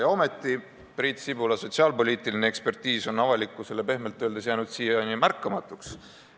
Ja ometi on Priit Sibula sotsiaalpoliitiline ekspertiis jäänud avalikkusele siiani pehmelt öeldes märkamatuks.